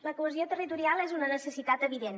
la cohesió territorial és una necessitat evident